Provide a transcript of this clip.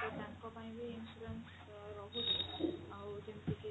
ତ ତାଙ୍କ ପାଇଁ ବି insurance ରହୁଛି ଆଉ ଯେମିତି କି